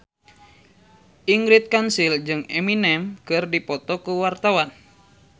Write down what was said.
Ingrid Kansil jeung Eminem keur dipoto ku wartawan